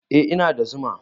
Eh, ina da zuma